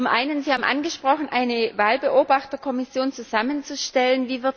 Erstens Sie haben angesprochen, eine Wahlbeobachterkommission zusammenzustellen.